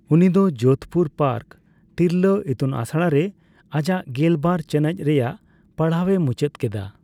ᱩᱱᱤ ᱫᱚ ᱡᱳᱫᱷᱯᱩᱨ ᱯᱟᱨᱠ ᱛᱤᱨᱞᱟᱹ ᱤᱛᱩᱱᱟᱥᱲᱟ ᱨᱮ ᱟᱡᱟᱜ ᱜᱮᱞᱵᱟᱨ ᱪᱟᱱᱟᱪ ᱨᱮᱭᱟᱜ ᱯᱟᱲᱦᱟᱣᱮ ᱢᱩᱪᱟᱹᱫ ᱠᱮᱫᱟ ᱾